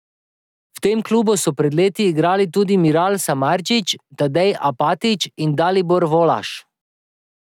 V tem klubu so pred leti igrali tudi Miral Samardžič, Tadej Apatič in Dalibor Volaš.